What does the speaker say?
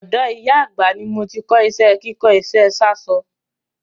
Ọ̀dọ̀ ìyá àgbà ni mo ti kọ́ iṣẹ́ kíkó iṣẹ́ sáṣọ.